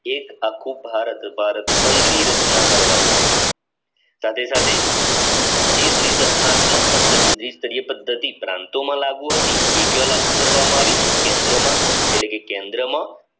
એક આખું ભારત ભારત સંઘની રચના કરવામાં આવી સાથે સાથેનાત્મક પદ્ધતિ પ્રાંતોમાં લાગુ હતી જે દ્રીત અજ્ઞાત્મક પદ્ધતિ પ્રાંતોમાં લાગુ હતી એ કયો લાગુ કરવામાં આવી કેન્દ્રમાં એટલે કે કેન્દ્રમાં